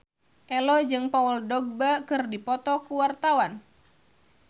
Ello jeung Paul Dogba keur dipoto ku wartawan